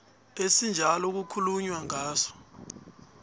esinjalo kukhulunywa ngaso